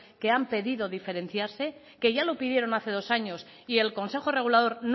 que han pedido diferenciarse que ya lo pidieron hace dos años y el consejo regulador